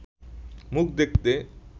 মুখ দেখতে